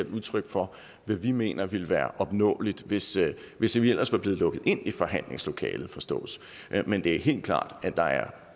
et udtryk for hvad vi mener ville være opnåeligt hvis hvis vi ellers var blevet lukket ind i forhandlingslokalet forstås men det er helt klart at der er